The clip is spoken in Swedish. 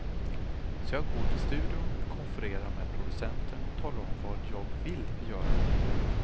Så jag går till studion, konfererar med producenten och talar om vad jag vill göra.